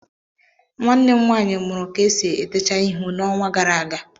Nwanne m nwanyi mụrụ ka esi etecha ihu n'onwa gara aga